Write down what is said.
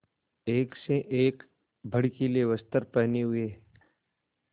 एक से एक भड़कीले वस्त्र पहने हुए